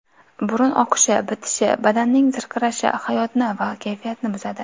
Burun oqishi, bitishi, badanning zirqirashi hayotni va kayfiyatni buzadi.